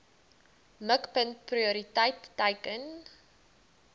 mikpunt prioriteit teiken